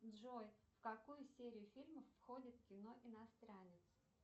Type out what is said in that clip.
джой в какую серию фильмов входит кино иностранец